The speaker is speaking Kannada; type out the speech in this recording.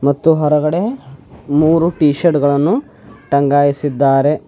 ಮತ್ತು ಹೊರಗಡೆ ಮೂರು ಟಿ ಶರ್ಟ್ ಗಳನ್ನು ಟಂಗಾಯಿಸಿದ್ದಾರೆ.